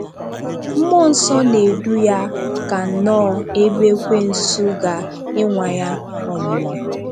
Mmụọ Nsọ na-edu ya ka nnọọ ebe ekwènsù ga ịnwa Ya ọnwụ́nwa.